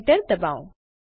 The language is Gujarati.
એન્ટર દબાવો